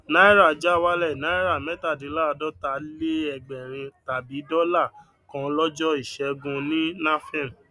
náírà já wálẹ náírà mẹtadínláàdọtaléẹgbẹrin tàbí dọlà kan lọjọ ìṣẹgun ní nafem